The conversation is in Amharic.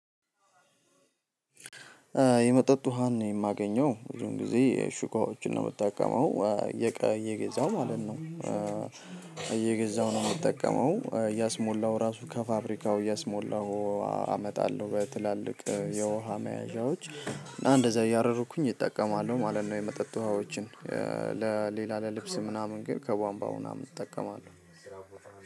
የመጠጥ ውሃን ነው የማገኘው ብዙን ጊዜ ሽኳዎችን ነው ምታቀመው እየገዛው ማለት ነው እየገዛው ነው ምጠቀመው እያስሞላው ራሱ ከፋብሪካው እያስሞላው አመጣለሁ በትላልቅ የውሃ መያዣዎች እና እንደዛ እያደረኩኝ እጠቀማለሁ ማለት ነው የመጠጥ ውሃዎችን ለሌላ ለልብስ ምናምን ግን ከቧንባው ምናምን እጠቀማለሁ።